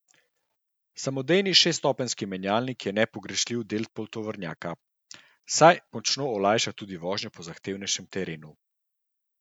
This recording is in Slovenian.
Samodejni šeststopenjski menjalnik je nepogrešljiv del poltovornjaka, saj močno olajša tudi vožnjo po zahtevnejšem terenu.